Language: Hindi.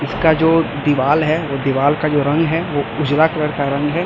इसका जो दीवाल है वो दीवाल का जो रंग है वो उजला कलर का रंग है।